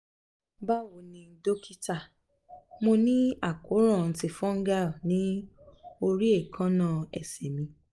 bawo ni dókítà mo ni akoran ti fungal ni ori ekanna ese mì